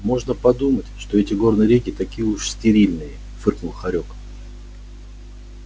можно подумать что эти горные реки такие уж стерильные фыркнул хорёк